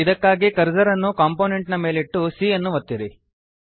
ಇದಕ್ಕಾಗಿ ಕರ್ಸರ್ ಅನ್ನು ಕಂಪೊನೆಂಟ್ ನ ಮೇಲಿಟ್ಟು c ಯನ್ನು ಒತ್ತಿರಿ